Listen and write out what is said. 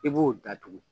I b'o datugu